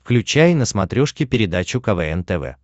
включай на смотрешке передачу квн тв